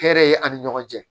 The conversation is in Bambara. Hɛrɛ ye ani ɲɔgɔn cɛ